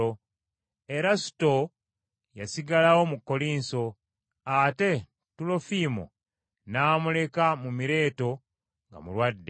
Erasuto yasigalayo mu Kkolinso, ate Tulofiimo namuleka mu Mireeto nga mulwadde.